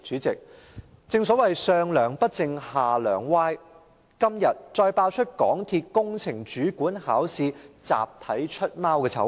正所謂"上樑不正下樑歪"，今天再爆出港鐵工程主管考試集體作弊的醜聞。